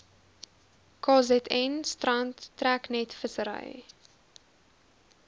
kzn strand treknetvissery